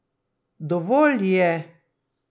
Dovolj je!